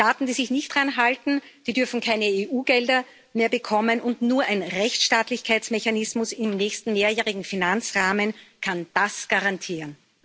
Staaten, die sich nicht daran halten, dürfen keine EU Gelder mehr bekommen, und nur ein Rechtsstaatlichkeitsmechanismus im nächsten Mehrjährigen Finanzrahmen kann das garantieren.